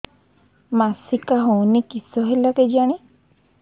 ମାସିକା ହଉନି କିଶ ହେଲା କେଜାଣି